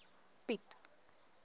piet